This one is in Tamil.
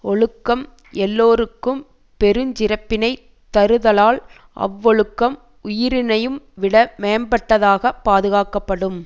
ஒழுக்கம் எல்லோருக்கும் பெருஞ் சிறப்பினைத் தருதலால் அவ்வொழுக்கம் உயிரினையும் விட மேம்பட்டதாகப் பாதுகாக்கப்படும்